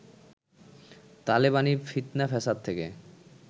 তালেবানি ফিৎনা ফ্যাসাদ থেকে